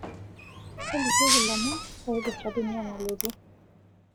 tolikioki lomon oiprta dunia nalotu